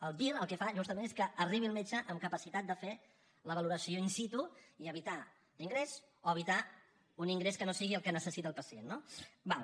el vir el que fa justament és que arribi el metge amb capacitat de fer la valoració in situ i evitar l’ingrés o evitar un ingrés que no sigui el que necessita el pacient no d’acord